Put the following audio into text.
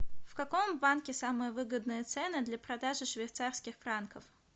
в каком банке самые выгодные цены для продажи швейцарских франков